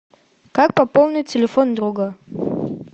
как пополнить телефон друга